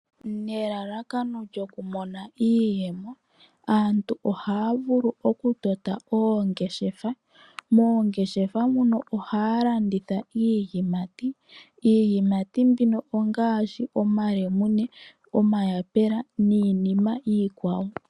Nelalakano lyokumona iiyemo, aantu ohaya vulu okutota oongeshefa. Moongeshefa muno ohaya landitha iiyimati. Iiyimati mbino ongaashi omalemune, omayapula niinima iikwawo.